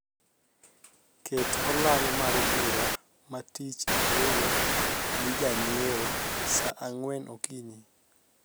ket olang mar bura ma atich ariyo gi janyieo saa angwen okinyi